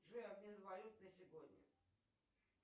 джой обмен валют на сегодня